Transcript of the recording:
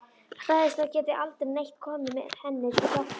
Hræðist að það geti aldrei neitt komið henni til hjálpar.